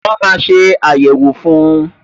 Wọn máa ṣe ayẹwo fun